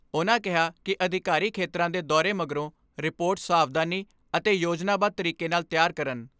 ਉਨ੍ਹਾਂ ਕਿਹਾ ਕਿ ਅਧਿਕਾਰੀ ਖੇਤਰਾਂ ਦੇ ਦੌਰੇ ਮਗਰੋਂ ਰਿਪੋਰਟ ਸਾਵਧਾਨੀ ਅਤੇ ਯੋਜਨਾਬੱਧ ਤਰੀਕੇ ਨਾਲ ਤਿਆਰ ਕਰਨ।